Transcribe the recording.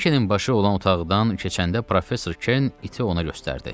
Birikenin başı olan otaqdan keçəndə professor Ken iti ona göstərdi.